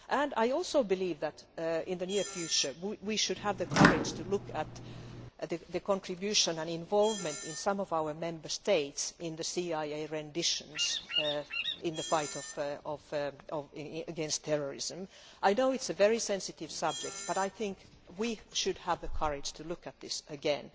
I also believe that in the near future, we should have the courage to look at the contribution and involvement of some of our Member States in the CIA renditions in the fight against terrorism. I know it is a very sensitive subject, but I think we should have the courage to look at this again.